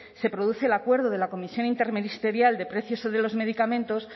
se produce el acuerdo de la comisión interministerial de precios de los medicamentos